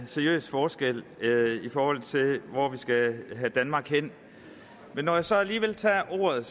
seriøs forskel i forhold til hvor vi skal have danmark hen men når jeg så alligevel tager ordet